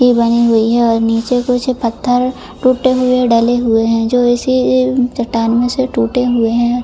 बानी हुई है और निचे कुछ पत्थर टूटे हुए डाले हुए हैं जो इसी चट्टान में से टूटे हुए है।